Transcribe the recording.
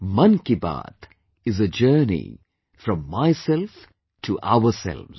'Mann Ki Baat' is a journey from myself to ourselves